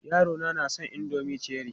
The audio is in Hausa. Yarona na son indomin Cherie.